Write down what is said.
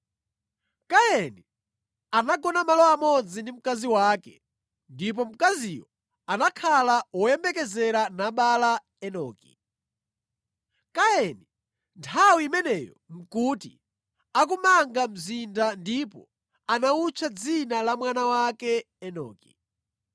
Kaini anagona malo amodzi ndi mkazi wake ndipo mkaziyo anakhala woyembekezera nabala Enoki. Kaini nthawi imeneyo nʼkuti akumanga mzinda ndipo anawutcha dzina la mwana wake Enoki.